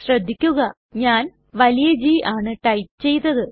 ശ്രദ്ധിക്കുക ഞാൻ വലിയ G ആണ് ടൈപ്പ് ചെയ്തത്